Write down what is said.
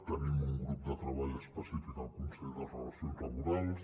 tenim un grup de treball específic al consell de relacions laborals